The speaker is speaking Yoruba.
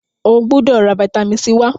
o gbódò rà vitamin c wá!